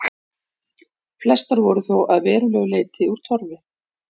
Flestar voru þó að verulegu leyti úr torfi.